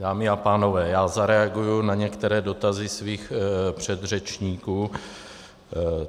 Dámy a pánové, já zareaguji na některé dotazy svých předřečníků.